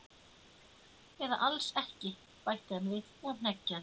Eða alls ekki bætti hann við og hneggjaði.